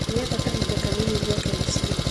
Ndĩrenda kahinda kanini njoke mũciĩ